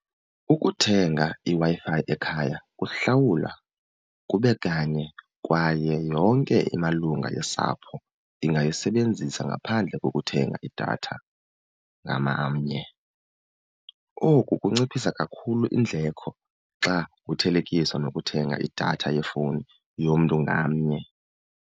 Ukuthenga iWi-Fi ekhaya kuhlawulwa kube kanye kwaye yonke imalunga yosapho ingayisebenzisa ngaphandle kokuthenga idatha . Oku kunciphisa kakhulu iindleko xa kuthelekiswa nokuthenga idatha yefowuni yomntu ngamnye.